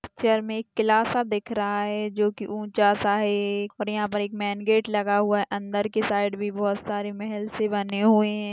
Picture में एक किला दिख रहा है जो की ऊंचा सा है पर यहां पर एक मेन गेट लगा हुआ अंदर की साइक भी बहुत सारी महल से बने हुए हैं।